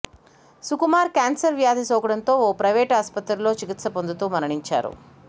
Sukumar cancer వ్యాధి సోకడంతో ఓ ప్రైవేటు ఆస్పత్రిలో చికిత్స పొందుతూ మరణించారు